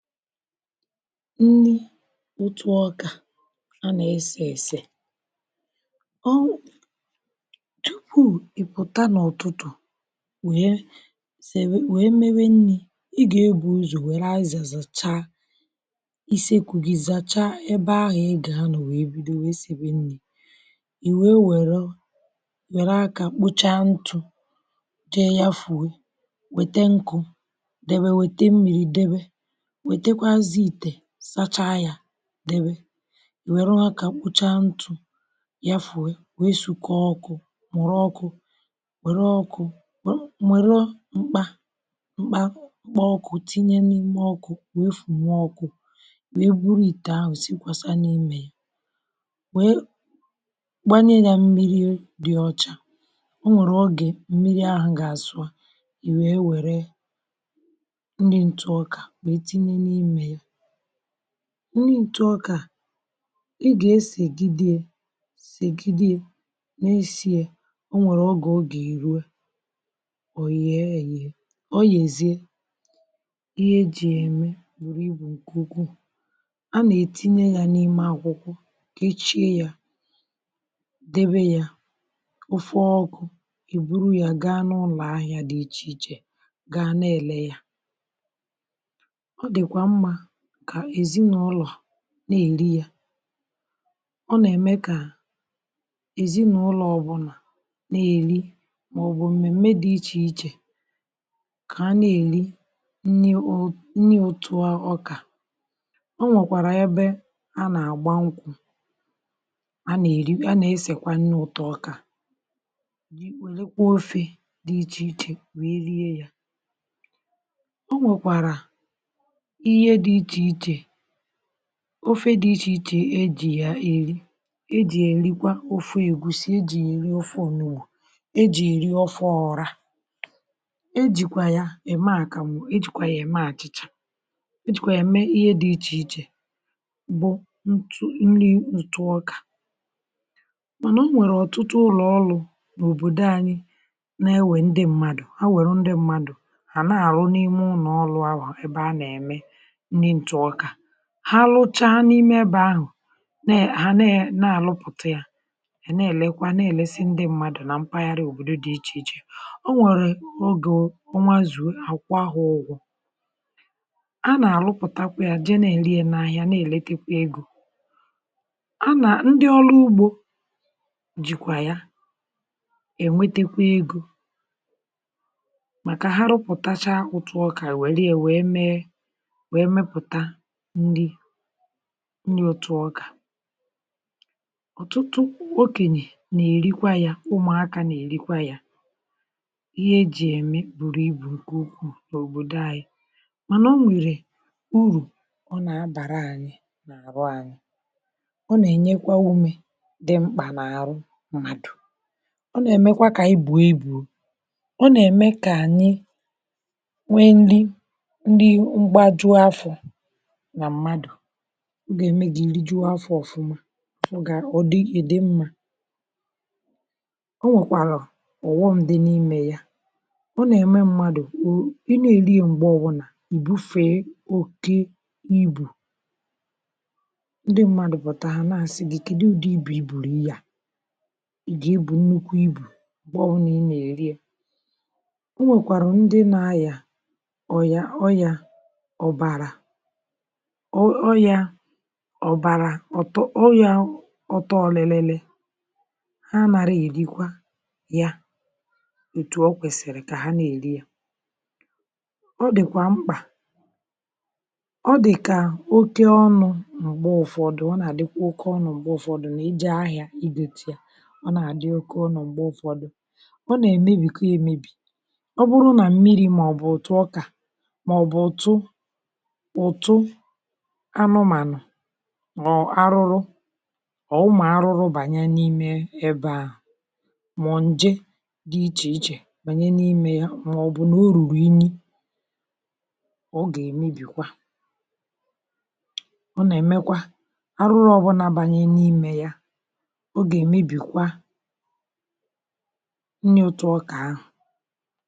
nni otuọkà anà-èsè èsè ọọ tupu i pụ̀ta na ọtụtụ wee sèwe wee mewe nni̇ ị gà-egbù ụzọ̀ wère aziza zàcha isekụ gi zacha ebe ahụ̀ ị gà-anà wèe bido wèe sèwe nni̇ i wee wèrụ were akà kpọcha ntụ̇ jee ya fùọọ wète nkụ̇ debe wète mmiri debe wetekwaziè itè sacha ya debe i were aka kpọcha ntụ̀ yafùọọ wee sukọ ọkụ̇ mụrụ ọkụ̇ wère ọkụ̇ mụrụ mkpà mkpà ọkụ̇ tinye n’ime ọkụ̇ wee fù nwọ ọkụ̇ wee bụrụ ite ahụ̀ sikwa sa n’imė ya wee gbanye ya mmiri dị ọcha o nwèrè ọge mmiri ahụ̀ gà-àsụ i wee wère nni ǹtụ ọkà wee tinye n’ime ya ṅṅi ntụ ọka ịgà esègidee sègidee n’esi̇ è onwèrè ọge oga erụ òyị̀e yiè o yèzie ihe e jì ème bụrụ ibù ǹkè ukwuu a nà-ètinye yȧ n’ime akwụkwọ kechie yȧ debe yȧ ọfọ ọkụ̇ ebụrụ yȧ gaa n’ụlọ̀ ahịȧ dị̇ ichè ichè gaa na-èle yȧ ọdikwamma ka eziṅaụlọ na-eli ya ọ nà-ème kà èzinaụlọ ọbụlà na-èli màọbụ̀ m̀mèm̀me dị ichè ichè kà ha na-èri nni ụtụ ọkà o nwèkwàrà ebe a nà-àgba nkwụ̇ a nà-esèkwa nni ụ̀tọ ọkà werekwa ofė dị ichè ichè wee rie yȧ ọnwekwara ihe di iche iche ofe dị̇ ichè ichè ejì ya èri ejì ya èrikwa ofu ègusi, ejì ya eri ofu ȯnùgbụ, ejì ya eri ofe ọrȧ ejìkwà ya ème àkàmụ̀, ejìkwà ya ème àchị̀chà ejìkwà ya ème ihe dị̇ ichè ichè bụ̀ nri ntụ ọkà manà o nwèrè ọ̀tụtụ ụlọ̀ ọlụ̇ n’òbòdò anyị na-ewe ndị mmadụ̀ ha wèrụ ndị mmadụ̀ hà nà-àrụ n’ime ụnọ̀ ọlụ̇ ahu ebe a nà-ème nni ntụ ọka ha lụcha na imebe ahụ̀ ha na àlụpụ̀ta ya ẹ̀ na-èlekwa na-èlesi ndị mmadụ̀ na mpaghara òbòdo dị̇ ichè ichè o nwèrè ogè o nwazùo àkwọ ha ụgwọ̇ a nà-àlụpụ̀takwa ya je na ẹ̀lẹ ya na ahịa na-èletekwa egȯ ndị ọlụ ugbȯ jìkwà ya ènwetekwa egȯ màkà ha rụpụ̀tacha otu ọkà e wèrè ya wee mee wee meputa nni ntù ọkà ọtụtụ okènye nà-èrikwa ya ụmụ̀akȧ nà-èrikwa ya ihe ejì ème bùrù ibù nke ukwù na òbòdò anyị̇ mànà o nwèrè urù ọ nà-abàra anyị̇ nà-àrụ anyị̇ ọ nà-ènyekwa umė dị mkpà nà-àrụ mmadù ọ nà-èmekwa kà anyi bue ibụ ọ nà-ème kà ànyị nwee nri nri mbajụ afọ na mmadụ ọ ga eme gị e rijuo afọ̀ òfuma idi mmȧ o nwèkwàrà ọ̀ghọ̇m di n’imė ya ọ nà-ème mmadù ị nà èri ya m̀gbeọbụ̀nà ìbufe okė ibù ndị mmadù pụ̀tà ha na-àsị gi kedụ ụdị ibù ibùrì ihe a ị gà ebụ nnukwu ibù mgbeọbụla ị nà èri ya ọnwèkwàrà ndị na aya oya ọya ọ̀bàrà ọya ọ̀tọ ọ̀lịlịlị ha nàri èrikwa ya ètù ọ kwẹ̀sị̀rị̀ kà ha nà èri ya ọ dị̀kwà mkpà ọ dị̀kà oke ọnụ̇ m̀gbe ụ̀fọdụ̀ ọ nà àdịkwa oke ọnụ̇ m̀gbe ụ̀fọdụ nà ije ahịȧ ije gọta ya ọ nà àdị oke ọ̀nọ̀ m̀gbe ụ̀fọdụ ọ nà èmebìkwa èmebì ọ bụrụ nà mmiri̇ mà ọ̀ bụ̀ òtù ọkà mà ọ̀ bụ̀ òtu ọtụ anụmànụ̀ ma ọ arụrụ ọ ụmụ arụrụ bànye n’ime ebe ahụ̀ mà ọ̀ ǹje dị ichè ichè bànye n’ime ya mà ọ̀ bụ̀ nà o rùrù ini ọ gà-èmebìkwa ọ nà-èmekwa arụrụ ọ̀bụlà bànye n’ime ya ọ gà-èmebìkwa nni otu ọkà ahụ̀.